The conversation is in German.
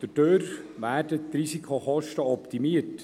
Dadurch werden die Risikokosten optimiert.